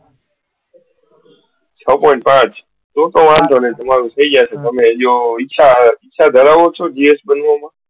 છ point પાંચ તો તો વાંધો ની તમારું થઇ જશે તમે ઈચ્છા ધરાવો છો બનવામાં? GS